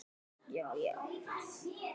Þau eru þar ein.